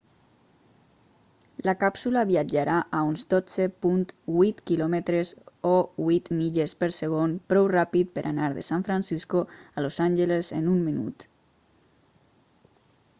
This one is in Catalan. la càpsula viatjarà a uns 12.8 km o 8 milles per segon prou ràpid per anar de san francisco a los angeles en un minut